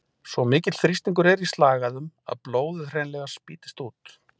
Svo mikill þrýstingur er í slagæðum að blóðið hreinlega spýtist út.